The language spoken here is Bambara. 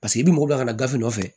Paseke i mago b'a ka gafe nɔfɛ